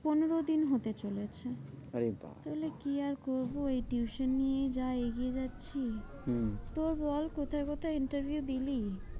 পনেরোদিন হতে চলেছে, আরে বাপ্ রে বাপ্ তাহলে কি আর করবো? এই tuition নিয়েই যা এগিয়ে যাচ্ছি। হম তো বল কোথায় কোথায় interview দিলি?